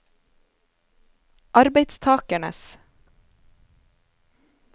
arbeidstakernes